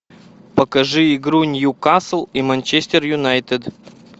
покажи игру ньюкасл и манчестер юнайтед